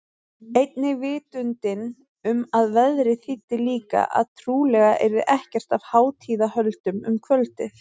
Einnig vitundin um að veðrið þýddi líka að trúlega yrði ekkert af hátíðahöldum um kvöldið.